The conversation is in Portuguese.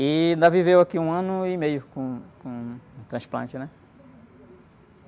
E ainda viveu aqui um ano e meio com, com o transplante, né?